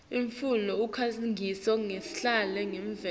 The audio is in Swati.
imfula usikhangiso lesihle semvelo